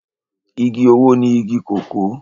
Igi owó ni igi kòkó